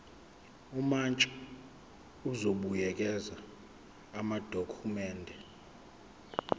umantshi uzobuyekeza amadokhumende